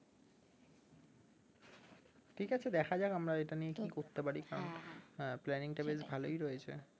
ঠিক আছে দেখা যাক আমরা এটা নিয়ে কি করতে পারি কারণটা বেশ ভালোই রয়েছে